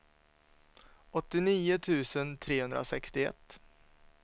åttionio tusen trehundrasextioett